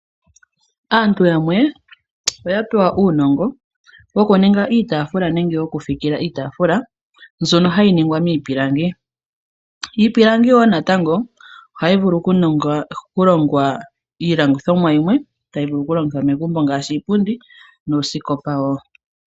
Aantu yamwe oya pewa uunongo wokuninga iitaafula nenge wokufikila iitaafula mbyono hayi ningwa miipilangi. Iipilangi wo natango ohayi vulu okulongwa iilongithomwa yilwe tayi vulu okulongithwa megumbo ngaashi iipundi nuusikopa wo.